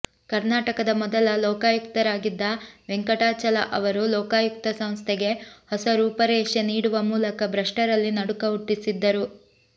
ಕರ್ನಾಟಕದ ಮೊದಲ ಲೋಕಾಯುಕ್ತರಾಗಿದ್ದ ವೆಂಕಟಾಚಲ ಅವರು ಲೋಕಾಯುಕ್ತ ಸಂಸ್ಥೆಗೆ ಹೊಸ ರೂಪರೇಷೆ ನೀಡುವ ಮೂಲಕ ಭ್ರಷ್ಟರಲ್ಲಿ ನಡುಕ ಹುಟ್ಟಿಸಿದ್ದರು